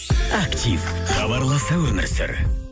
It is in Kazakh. актив хабарласа өмір сүр